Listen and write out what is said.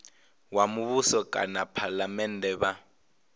wa muvhuso kana phalamennde vha